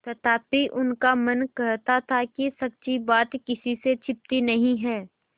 तथापि उनका मन कहता था कि सच्ची बात किसी से छिपी नहीं है